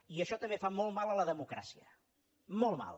i això també fa molt mal a la democràcia molt mal